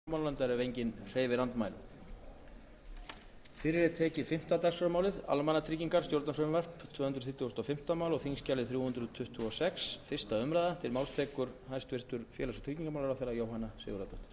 herra forseti ég mæli hér fyrir frumvarpi til laga um breytingu á lögum um almannatryggingar númer hundrað tvö þúsund og sjö með síðari breytingum í stefnuyfirlýsingu ríkisstjórnarinnar er fjallað sérstaklega um bættan hag aldraðra og öryrkja og unnið verði að einföldun